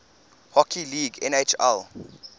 hockey league nhl